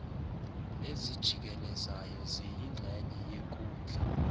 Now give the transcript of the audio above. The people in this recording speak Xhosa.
ezijikelezayo ziyingxenye yenkundla